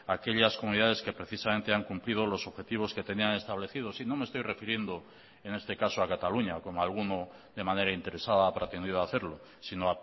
aquellas comunidades que precisamente han cumplido los objetivos que tenían establecidos y no me estoy refiriendo en este caso a cataluña como alguno de manera interesada ha pretendido hacerlo sino